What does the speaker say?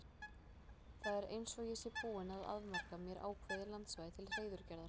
Það er eins og ég sé búinn að afmarka mér ákveðið landsvæði til hreiðurgerðar.